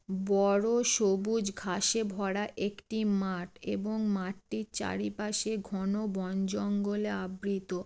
ব-ড় সবুজ ঘাসে ভরা একটি মাঠ এবং মাঠটির চারিপাশে ঘন বন জঙ্গলে আবৃত ।